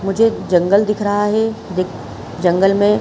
मुझे एक जंगल दिख रहा है। दिख जंगल में--